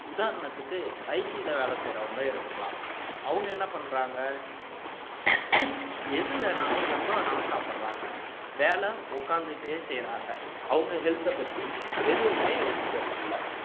உதாரணத்துக்கு IT ல வேலை செய்யறவங்களை எடுத்துக்கலாம் அவங்க என்ன பண்றாங்க எது வேணாலும் எப்ப வேணாலும் சாப்பிடறாங்க வேலை உக்காந்துட்டே செய்யறாங்க அவங்க health அ பத்தி எதுவுமே யோசிக்கிறது இல்லை